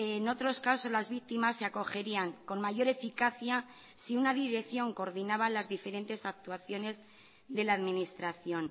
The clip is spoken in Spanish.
en otros casos las víctimas se acogerían con mayor eficacia si una dirección coordinaba las diferentes actuaciones de la administración